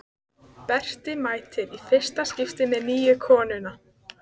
Berti mætir í fyrsta skipti með nýju konuna.